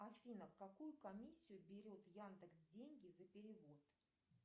афина какую комиссию берет яндекс деньги за перевод